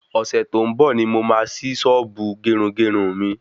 Ọ̀sẹ̀ tó ń bò ni mo máa ṣí sọ́ọ́bù gerungerun mi